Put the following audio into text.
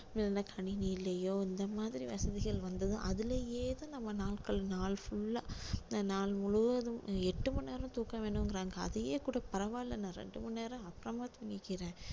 இல்ல கணினியிலயோ இந்த மாதிரி வசதிகள் வந்ததும் அதுல ஏதும் நம்ம நாட்கள் நாள் full ஆ இந்த நாள் முழுவதும் எட்டு மணி நேரம் தூக்கம் வேணுங்கறாங்க அதையே கூட பரவாயில்லை நான் ரெண்டு மணி நேரம் அப்புறமா தூங்கிக்கிறேன்